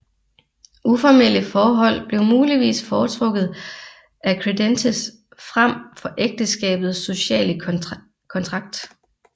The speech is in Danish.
Uformelle forhold blev muligvis foretrukket af credentes frem for ægteskabets sociale kontrakt